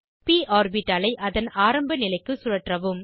ப் ஆர்பிட்டாலை அதன் ஆரம்ப நிலைக்கு சுழற்றவும்